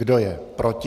Kdo je proti?